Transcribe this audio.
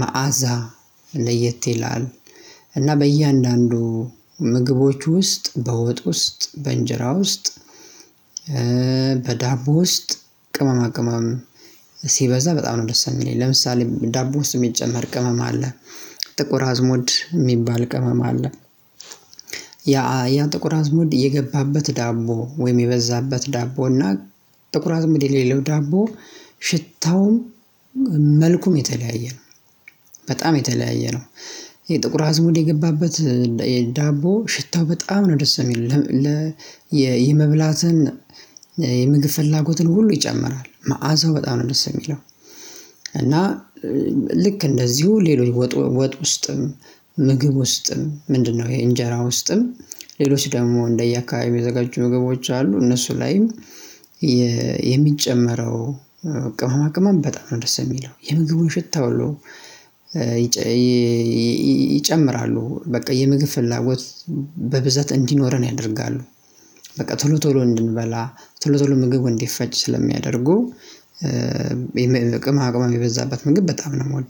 መዓዛ ለየት ይላል። እና በእያንዳንዱ ምግቦች ውስጥ በወጥ ውስጥ በእንጀራ ውስጥ በዳቦ ውስጥ ቅመማ ቅመም ሲበዛ በጣም ነው ደስ የሚለኝ ለምሳሌ ዳቦ ውስጥ የሚጨመር ቅመም አለ። ጥቁር አዝሞድ የሚባል ቅመም አለ። ያ ያ ጥቁር አዝሞድ የገባበት ዳቦ ወይም የበዛበት ዳቦ እና ጥቁር አዝሙድ የሌለው ዳቦ ሽታው መልኩም የተለያየ ነው። በጣም የተለያየ ነው። የጥቁር አዝሙድ የገባበት የዳቦ ሽታው በጣም ነው ደስ የሚለው የመብላትን የምግብ ፍላጎትን ሁሉ ይጨምራል መዓዛው በጣም ነው ደስ የሚለው። እና ልክ እንደዚሁ ሌሎች ወጥ ወጥ ውስጥም ምግብ ውስጥም ምንድነው? ይሄ እንጀራ ውስጥም ሌሎች ደግሞ እንደየ አካባቢው የሚዘጋጁ ምግቦች አሉ እነሱ ላይም የሚጨመረው ቅማማ ቅማም በጣም ነው ደስ የሚለው የምግቡን ሽታ አለው። ይጨምራሉ በቃ የምግብ ፍላጎት በብዛት እንዲኖረን ያደርጋሉ። በቃ ቶሎ ቶሎ እንድንበላ ቶሎ ቶሎ ምግብ እንዲፈጭ ስለሚያደርጉ። የሚበ ቅመማ ቅመም የበዛበት ምግብ በጣም ነው የምወደው